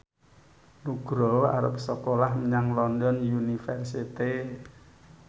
Nugroho arep sekolah menyang London University